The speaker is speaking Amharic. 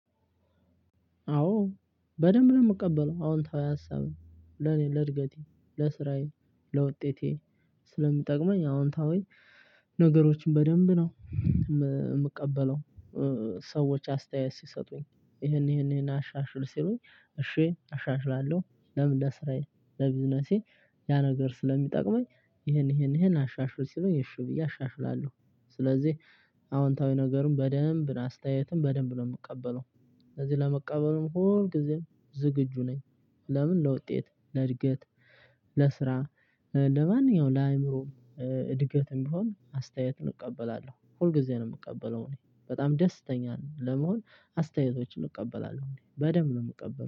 አዎ በደንብ ነው የምቀበለው አዎንታዊ ሀሳብን ለኔ ለእድገቴ፣ ለስራዬ፣ ለውጤቴ ስለሚጠቅመኝ አዎንታዊ ነገሮችን በደንብ ነው የምቀበለው። ሰዎች አስተያየት ሲሰጡኝ ይሄን ይሄን ይሄን አሻሽል ሲሉኝ እሽ አሻሽላለሁ ለምን ለስራዬ ለቢዝነሴ ያ ነገር ስለሚጠቅመኝ ይሄን ይሄን ይሄን አሻሽል ሲሉኝ እሺ ብዬ አሻሽላለሁ ስለዚህ አዎንታዊ ነገሩን በደንብ አስተያየትን በደንብ ነው የምቀበለው ስለዚህ ለመቀበሉም ሁልጊዜም ዝግጁ ነኝ ለምን? ለውጤት፣ ለእድገት፣ ለስራ ለማንኛውም ለአእምሮ እድገትም ቢሆን አስተያየትን እቀበላለሁ ሁልጊዜም ነው የምቀበለው እኔ በጣም ደስተኛ ለመሆን አስተያየቶችን እቀበላለሁ በደንብ ነው የምቀበለው።